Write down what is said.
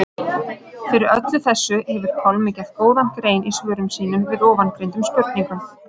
Fyrir öllu þessu hefur Pálmi gert góða grein í svörum sínum við ofangreindum spurningum.